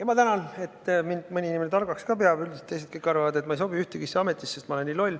Ma tänan, et mõni inimene mind ka targaks peab, üldiselt kõik teised arvavad, et ma ei sobi ühessegi ametisse, sest ma olen nii loll.